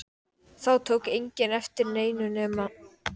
Þá tók enginn eftir neinu nema